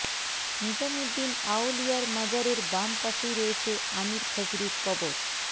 নিজামউদ্দিন আওলিয়ার মাজারের বাম পাশেই রয়েছে আমির খসরুর কবর